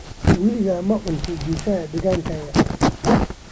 Weligaa ma cuntay pizza deegaankaaga?